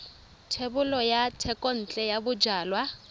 thebolo ya thekontle ya bojalwa